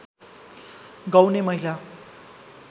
गाउने महिला